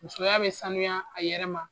Musoya bɛ sanuya a yɛrɛ ma